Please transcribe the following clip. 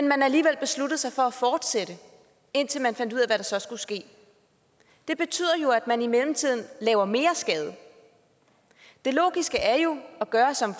man alligevel besluttede sig for at fortsætte indtil man fandt ud af hvad der så skulle ske det betyder jo at man i mellemtiden laver mere skade det logiske er jo at gøre som